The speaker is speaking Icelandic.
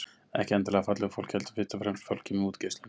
Ekki endilega fallegu fólki heldur fyrst og fremst fólki með útgeislun.